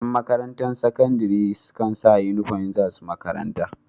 Yan makarantar sakandari na Saka inufom idan zasu makaranta